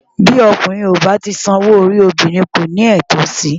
Bí ọkùnrin kò bá tíì san owó orí obìnrin, kò ní ẹ̀tọ́ sí i.